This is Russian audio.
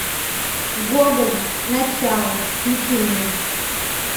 гоголь начало включи мне